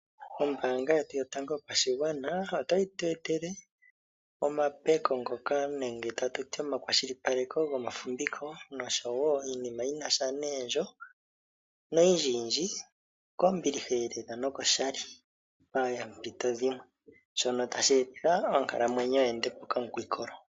Ombaanga yetu yotango yopashigwana, otayi tu etele omapeko ngoka nenge omakwashilipaleko gomafumviko, noshwo iinima yinasha neendjo, niinima oyindjiyindji kombiliha elela nokoshali paampito dhimwe. Sho otashi etitha onkalamwenyo yi ende po okamukwikolo.